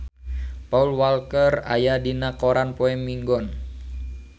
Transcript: Paul Walker aya dina koran poe Minggon